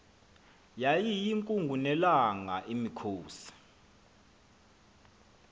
yayiyinkungu nelanga imikhosi